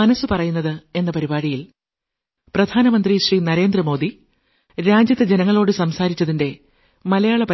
ആശംസിക്കുന്നു